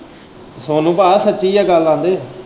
ਸੋਨੂੰ ਪਾ ਸੱਚੀ ਹੈ ਗੱਲ ਆਂਦੇ।